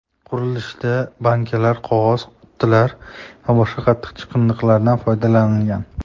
Qurilishda bankalar, qog‘oz qutilar va boshqa qattiq chiqindilardan foydalanilgan.